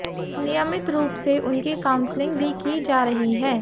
नियमित रूप से उनकी काउंसलिंग भी की जा रही है